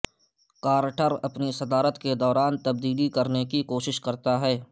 Carter اپنی صدارت کے دوران تبدیلی کرنے کی کوشش کرتا ہے